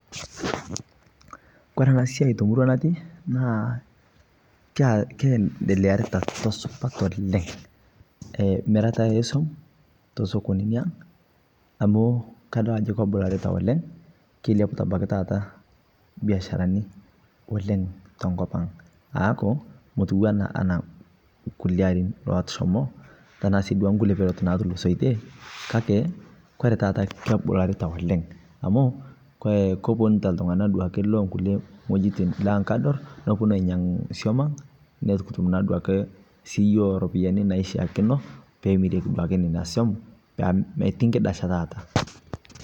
keendelearitaaa tosupat oleng. Mirataa ee som te sokonini aang, kobularitaa oleng, keiliaputaa abakii biasharani te nkopii aang aaku motuwaa nkulie arin oshomoo.